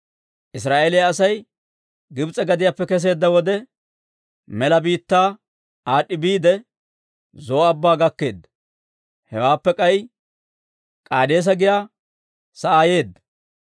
Israa'eeliyaa Asay Gibs'e gadiyaappe kesseedda wode, mela biittaa aad'd'i biide, Zo'o Abbaa gakkeedda; hewaappe k'ay K'aadeesa giyaa sa'aa yeedda.